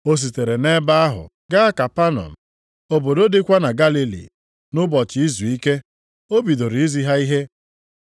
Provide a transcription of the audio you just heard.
O sitere nʼebe ahụ gaa Kapanọm, obodo dịkwa na Galili. Nʼụbọchị izuike, o bidoro izi ha ihe.